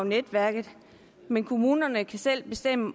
netværket men kommunerne kan selv bestemme